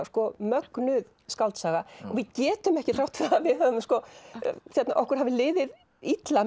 mögnuð skáldsaga og við getum ekki þrátt fyrir að okkur hafi liðið illa